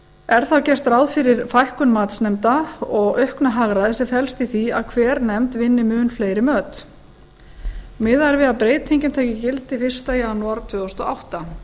er þá get ráð fyrir fækkun matsnefnda og auknu hagræði sem felst í því að hver nefnd vinni mun fleiri möt miðað er við að breytingin taki gildi fyrsta janúar tvö þúsund og átta